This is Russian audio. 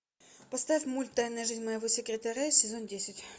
поставь мульт тайная жизнь моего секретаря сезон десять